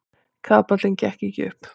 Kapallinn gekk ekki upp.